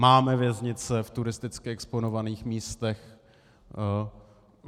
Máme věznice v turisticky exponovaných místech.